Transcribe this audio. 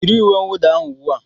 Yiri uwe mwuda ahụ ubua.